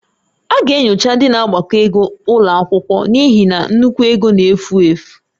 A ga-enyocha ndị na-agbakọ ego ụlọ akwụkwọ n'ihi na nnukwu ego n'efu efu